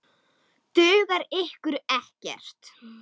Dugar ykkur ekkert?